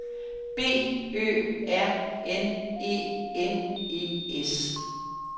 B Ø R N E N E S